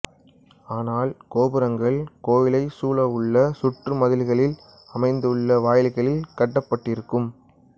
ஆனால் கோபுரங்கள் கோயிலைச் சூழவுள்ள சுற்று மதில்களில் அமைந்துள்ள வாயில்களில் கட்டப்பட்டிருக்கும்